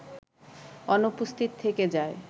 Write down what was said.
অনুপস্থিত থেকে যায়